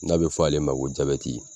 N'a bi fɔ ale ma ko